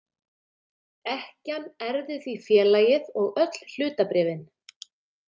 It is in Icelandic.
Ekkjan erfði því félagið og öll hlutabréfin.